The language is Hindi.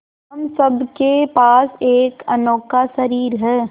हम सब के पास एक अनोखा शरीर है